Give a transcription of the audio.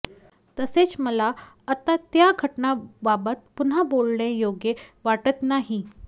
तसेच मला आता त्या घटनेबाबत पुन्हा बोलणे योग्य वाटत नाही